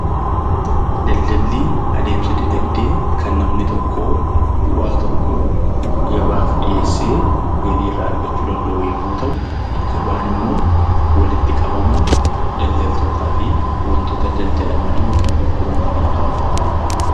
Daldalli adeemsa dinagdee kan namni tokko bu'aa tokko gabaaf dhiyeessee galii irraa argachuu danda'u yommuu ta'u, gabaan immoo walitti qabama daldaltootaa fi wantoota daldalamanii yookiin gurguramaniidha.